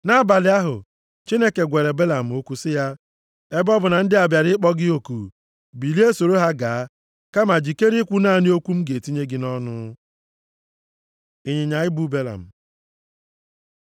Nʼabalị ahụ, Chineke gwara Belam okwu sị ya, “Ebe ọ bụ na ndị a bịara ịkpọ gị oku, bilie soro ha gaa, kama jikere ikwu naanị okwu m ga-etinye gị nʼọnụ.” Ịnyịnya ibu Belam